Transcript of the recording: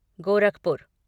Gorakhpur